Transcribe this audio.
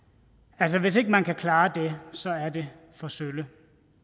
altså hvis ikke man kan klare det så er det for sølle